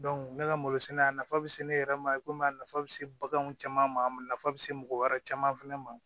ne ka malo sɛnɛ a nafa bɛ se ne yɛrɛ ma komi a nafa bɛ se baganw caman ma nafa bɛ se mɔgɔ wɛrɛ caman fɛnɛ ma